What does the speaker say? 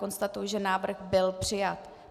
Konstatuji, že návrh by přijat.